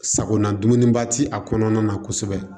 Sagona dumuniba ti a kɔnɔna na kosɛbɛ